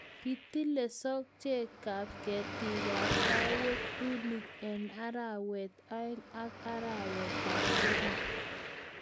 kitilei sojekab ketikab kaawek(pruning)eng arawetab aeng ak arawetab somok